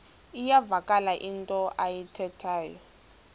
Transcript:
iyavakala into ayithethayo